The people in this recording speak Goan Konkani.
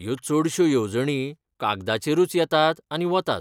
ह्यो चडश्यो येवजणी कागदाचेरूच येतात आनी वतात.